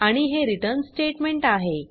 आणि हे return statement आहे